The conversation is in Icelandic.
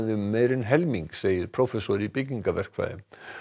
um meira en helming segir prófessor í byggingaverkfræði